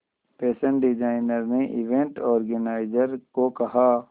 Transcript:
fashion designer ने event organiser को कहा